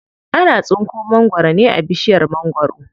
Ana tsinko mangwaro ne a bishiyar mangwaro.